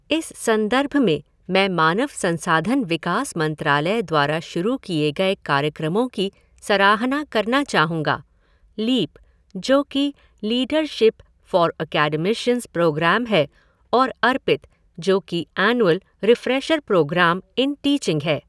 इस संदर्भ में मैं मानव संसाधन विकास मंत्रालय द्वारा शुरू किए गए कार्यक्रमों की सराहना करना चाहुंगा, लीप, जो कि लीडरशीप फ़ॉर ऐकैडमीशन्स प्रोग्रैम है और अर्पित, जो कि annual refresher programme in teaching है।